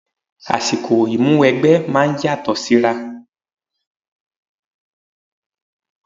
Àsìkò Ìmúwẹgbẹ́ máa ń yàtọ̀ síra